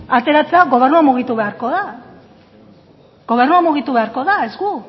ateratzea gobernua mugitu beharko da gobernua mugitu beharko da ez gu